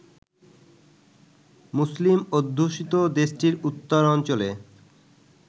মুসলিম অধ্যুষিত দেশটির উত্তরাঞ্চলে